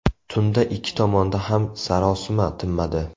Tunda ikki tomonda ham sarosima tinmadi.